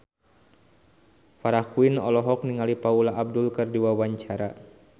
Farah Quinn olohok ningali Paula Abdul keur diwawancara